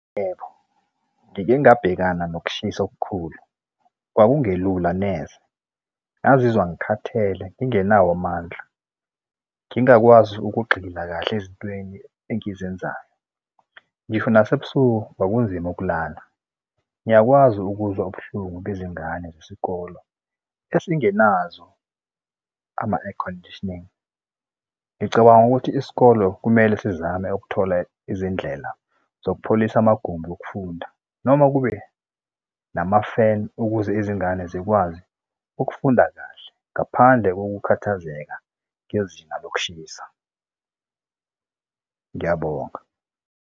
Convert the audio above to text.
Yebo, ngike ngabhekana nokushisa okukhulu, kwakungelula neze. Ngazizwa ngikhathele ngingenawo amandla, ngingakwazi ukugxila kahle ezintweni engizenzayo. Ngisho nasebusuku kwakunzima ukulala. Ngiyakwazi ukuzwa ubuhlungu bezingane zesikole esingenazo ama-airconditioning. Ngicabanga ukuthi isikolo kumele sizame ukuthola izindlela zokupholisa amagumbi okufunda noma kube nama-fan ukuze izingane zikwazi ukufunda kahle ngaphandle kokukhathazeka kwezinga lokushisa. Ngiyabonga.